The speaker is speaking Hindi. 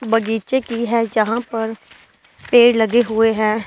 बगीचे की है जहां पर पेड़ लगे हुए हैं।